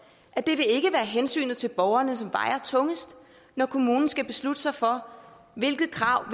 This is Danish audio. at det ikke vil være hensynet til borgeren som vejer tungest når kommunen skal beslutte sig for hvilke krav